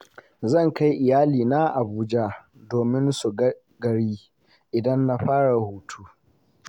Zan kai iyalaina Abuja domin su ga gari idan na fara hutu.